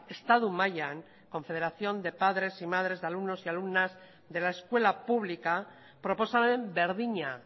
estatu mailan confederación de padres y madres de alumnos y alumnas de la escuela pública proposamen berdina